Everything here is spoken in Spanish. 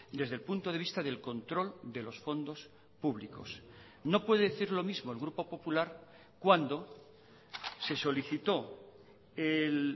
desde el punto de vista del control de los fondos públicos no puede decir lo mismo el grupo popular cuando se solicitó el